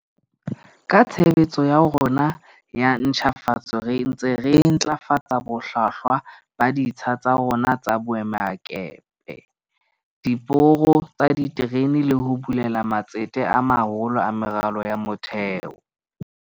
Ka tshebetso ya rona ya ntjhafatso re ntse re ntlafatsa bohlwahlwa ba ditsha tsa rona tsa boemakepe, diporo tsa diterene le ho bulela matsete a maholo a meralo ya motheo.